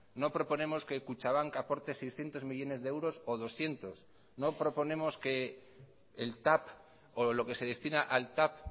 no proponemos que kutxabank aporte seiscientos millónes de euros o doscientos no proponemos que el tav o lo que se destina al tav